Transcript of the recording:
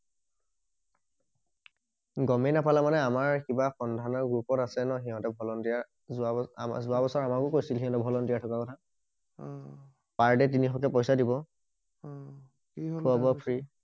গমেই নাপালা মানে আমাৰ কিবা সন্দানৰ গ্ৰোপত আছে ন সিঁহতৰ ভলন্তিয়াৰ যোৱা বোৰ যোৱা বছৰ আমাৰো গৈছিল সিহঁতৰ ভলন্তিয়াৰ খকা কথা উম পাৰ দে তিনিশ কে পইছা দিব উম খোৱা বোৱা ফ্ৰি